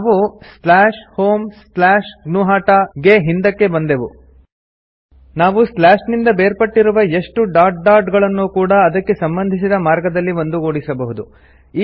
ನಾವು homegnuhata ಗೆ ಹಿಂದಕ್ಕೆ ಬಂದೆವು ನಾವು ಸ್ಲಾಶ್ ನಿಂದ ಬೇರ್ಪಟ್ಟಿರುವ ಎಷ್ಟು ಡಾಟ್ ಡಾಟ್ ಗಳನ್ನೂ ಕೂಡಾ ಅದಕ್ಕೆ ಸಂಬಂಧಿಸಿದ ಮಾರ್ಗದಲ್ಲಿ ಒಂದುಗೂಡಿಸಬಹುದು